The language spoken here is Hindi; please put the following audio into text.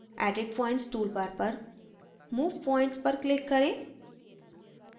edit points toolbar पर move points पर click करें